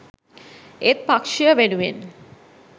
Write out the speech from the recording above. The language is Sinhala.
ඒත් පක්ෂය වෙනුවෙන්